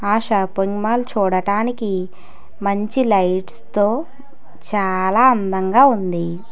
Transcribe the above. ఆ shopping mall చూడటానికి మంచి లైట్స్ తో చాలా అందంగా ఉంది.